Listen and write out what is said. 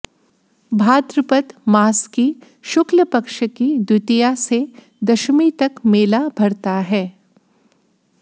भाद्रपद मास की शुक्ल पक्ष की द्वितीया से दशमी तक मेला भरता है